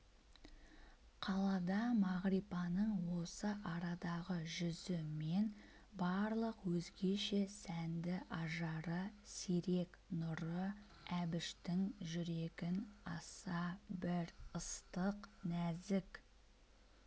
қалайда мағрипаның осы арадағы жүзі мен барлық өзгеше сәнді ажары сирек нұры әбіштің жүрегін аса бір ыстық нәзік